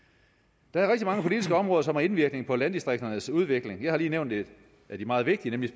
der er mange politiske områder som har indvirkning på landdistrikternes udvikling jeg har lige nævnt et af de meget vigtige nemlig